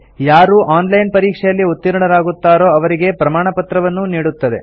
ಯಾರು online ಪರೀಕ್ಷೆಯಲ್ಲಿ ಉತ್ತೀರ್ಣರಾಗುತ್ತಾರೋ ಅವರಿಗೆ ಪ್ರಮಾಣಪತ್ರವನ್ನೂ ನೀಡುತ್ತದೆ